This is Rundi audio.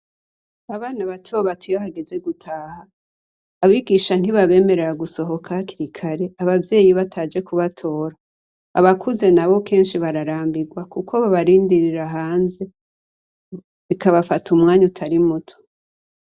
Abana bato bato iyo hageze gutaha abigisha ntibabemerera gusohoka hakiri kare abavyeyi bataje kubatora, abakuze nabo kenshi bararambigwa kuko babarindirira hanze bikabafata umwanya utari muto.